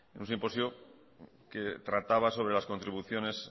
un simposio que trataba sobre las contribuciones